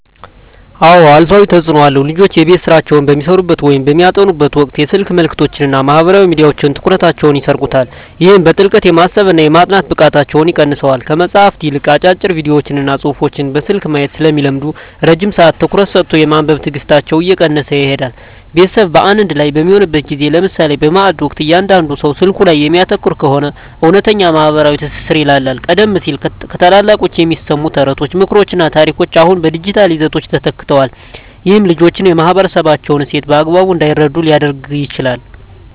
አዎ አሉታዊ ተፅኖ አለው። ልጆች የቤት ሥራቸውን በሚሠሩበት ወይም በሚያጠኑበት ወቅት የስልክ መልእክቶችና ማኅበራዊ ሚዲያዎች ትኩረታቸውን ይሰርቁታል። ይህም በጥልቀት የማሰብና የማጥናት ብቃታቸውን ይቀንሰዋል። ከመጽሐፍት ይልቅ አጫጭር ቪዲዮዎችንና ጽሑፎችን በስልክ ማየት ስለሚለምዱ፣ ረጅም ሰዓት ትኩረት ሰጥቶ የማንበብ ትዕግሥታቸው እየቀነሰ ይሄዳል። ቤተሰብ በአንድ ላይ በሚሆንበት ጊዜ (ለምሳሌ በማዕድ ወቅት) እያንዳንዱ ሰው ስልኩ ላይ የሚያተኩር ከሆነ፣ እውነተኛው ማኅበራዊ ትስስር ይላላል። ቀደም ሲል ከታላላቆች የሚሰሙ ተረቶች፣ ምክሮችና ታሪኮች አሁን በዲጂታል ይዘቶች ተተክተዋል። ይህም ልጆች የማኅበረሰባቸውን እሴት በአግባቡ እንዳይረዱ ሊያደርግ ይችላል።